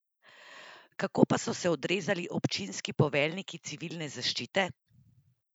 Kako pa so se odrezali občinski poveljniki civilne zaščite?